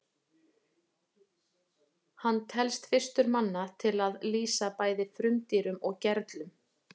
hann telst fyrstur manna til að lýsa bæði frumdýrum og gerlum